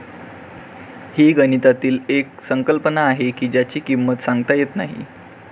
हि गणितातील एक संकल्पना आहे की ज्याची किंमत सांगता येत नाही